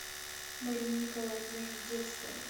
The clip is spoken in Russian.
мария николаевна жирдецкая